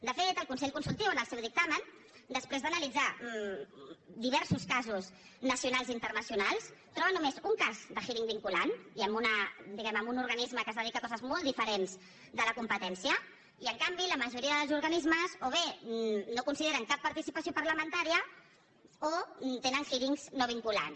de fet el consell consultiu en el seu dictamen després d’analitzar diversos casos nacionals i internacionals troba només un cas de hearing vinculant i diguem ne en un organisme que es dedica a coses molt diferents de la competència i en canvi la majoria dels organismes o bé no consideren cap participació parlamentària o tenen hearings no vinculants